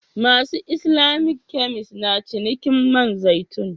Masu Islamic kemis na cinikin man zaitun.